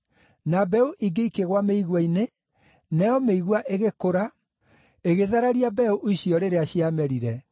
Na mbeũ ingĩ ikĩgũa mĩigua-inĩ, nayo mĩigua ĩgĩkũra, ĩgĩthararia mbeũ icio rĩrĩa ciamerire.